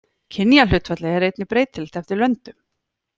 Kynjahlutfallið er einnig breytilegt eftir löndum.